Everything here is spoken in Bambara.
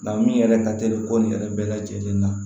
Nka min yɛrɛ ka teli ko nin yɛrɛ bɛɛ lajɛlen na